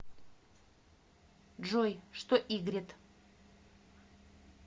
джой что игрет